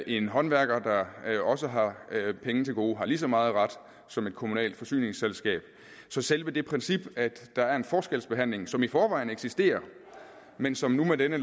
en håndværker der også har penge til gode har ligeså meget ret som et kommunalt forsyningsselskab så selve det princip at der er en forskelsbehandling som i forvejen eksisterer men som nu med dette